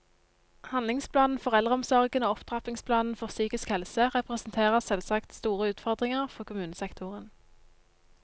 Handlingsplanen for eldreomsorgen og opptrappingsplanen for psykisk helse representerer selvsagt store utfordringer for kommunesektoren.